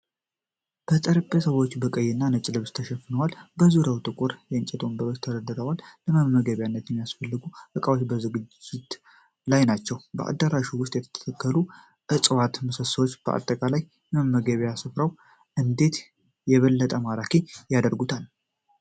ጠረጴዛዎቹ በቀይና ነጭ ልብስ ተሸፍነው፣ በዙሪያቸው ጥቁር የእንጨት ወንበሮች ተደርድረዋል፤ ለመመገቢያነት የሚያስፈልጉ ዕቃዎች በዝግጅት ላይ ናቸው። በአዳራሹ ውስጥ የተተከሉት እጽዋትና ምሰሶዎች አጠቃላይ የመመገቢያ ስፍራውን እንዴት የበለጠ ማራኪ ያደርጉታል?